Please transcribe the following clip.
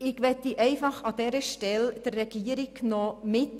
Ich möchte an dieser Stelle der Regierung Folgendes mitgeben: